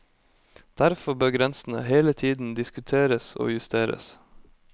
Derfor bør grensene hele tiden diskuteres og justeres.